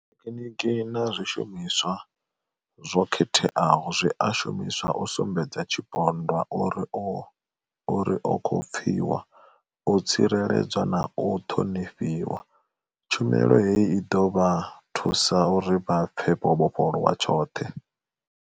Thekhiniki na zwishumiswa zwo khetheaho zwi a shumiswa u sumbedza tshipondwa uri o khou pfiwa, u tsireledzwa na u ṱhonifhiwa. Tshumelo heyi i ḓo vha thusa uri vha pfe vho vhofholowa tshoṱhe.